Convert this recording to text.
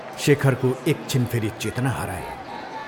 शेखरको एकछिन फेरि चेतना हरायो।